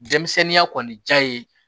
Denmisɛnninya kɔni diya ye